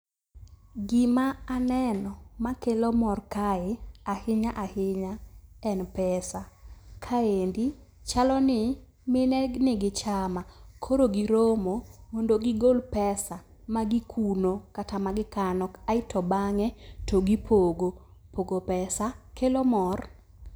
Gima aneno makelo mor kae ahinya ahinya en pesa. Kaendi chaloni mine nigi chama koro giromo mondo gigol pesa magikuno kata magikano aeto bang'e to gipogo. Pogo pesa kelo mor.